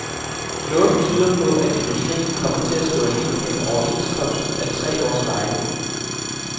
Noget tyder på, at industrien kommer til at stå alene med en overenskomst af tre års varighed.